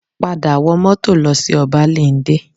Padà wọ mọ́tò lọ sí Ọbáléndé